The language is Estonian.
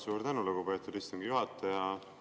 Suur tänu, lugupeetud istungi juhataja!